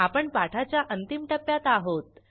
आपण पाठाच्या अंतिम टप्प्यात आहोत